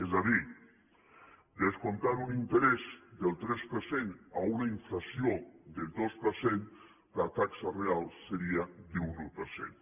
és a dir descomptant un interès del tres per cent a una inflació del dos per cent la taxa real seria d’un un per cent